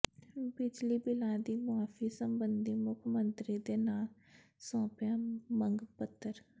ਬਿਜਲੀ ਬਿਲਾਂ ਦੀ ਮੁਆਫ਼ੀ ਸਬੰਧੀ ਮੁੱਖ ਮੰਤਰੀ ਦੇ ਨਾਮ ਸੌਂਪਿਆ ਮੰਗ ਪੱਤਰ